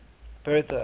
bertha